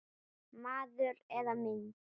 Maður eða mynd